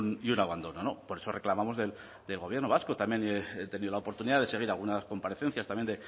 y un abandono por eso reclamamos del gobierno vasco también he tenido la oportunidad de seguir algunas comparecencias también